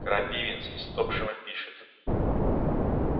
крапивинс из топшэма пишет